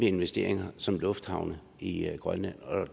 investeringer som lufthavne i i grønland